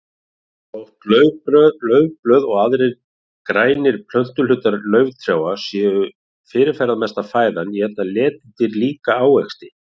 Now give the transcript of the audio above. Þótt laufblöð og aðrir grænir plöntuhlutar lauftrjáa séu fyrirferðamesta fæðan éta letidýr líka ávexti.